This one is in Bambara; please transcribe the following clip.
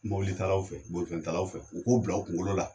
Mobili talaw fɛ bolifɛn talaw fɛ u k'o bila u kunkolo la.